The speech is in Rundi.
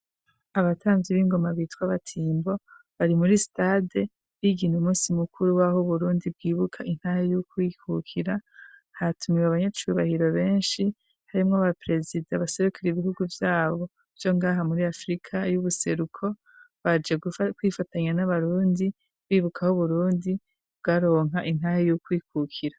Abatamvyi b'ingoma bitwa Abatimbo, bari muri stade bigina umunsi mukuru waho Uburundi bwibuka intahe y'ukwikukira, hatumiwe abanyacubahiro benshi: harimwo aba perezida, abaserukira ibihugu vyabo vyo ngaha muri Afrika y'ubuseruko, baje kwifatanya n'abarundi bibuka aho Uburundi bwaronka intahe y'ukwikukira.